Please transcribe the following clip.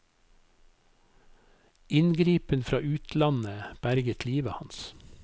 Inngripen fra utlandet berget livet hans.